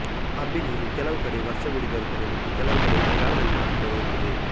ಅಬ್ಬಿನೀರು ಕೆಲವು ಕಡೆ ವರ್ಷವಿಡೀ ದೊರೆತರೆ ಮತ್ತು ಕೆಲವುಕಡೆ ಮಳೆಗಾಲದಲ್ಲಿ ಮಾತ್ರ ದೊರೆಯುತ್ತದೆ